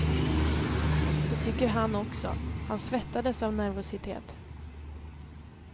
Det tycker han också, han svettades av nervositet.